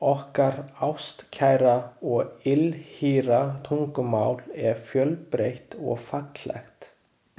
Okkar ástkæra og ylhýra tungumál er fjölbreytt og fallegt.